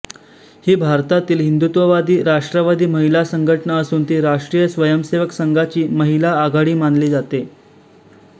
ही भारतातील हिंदुत्ववादीराष्ट्रवादी महिला संघटना असून ती राष्ट्रीय स्वयंसेवक संघाची महिला आघाडी मानली जाते